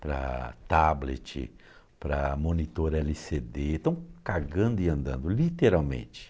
para tablet, para monitor ele cê dê, estão cagando e andando, literalmente.